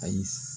Ayi